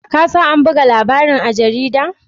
Ka sa an buga labarin a jarida?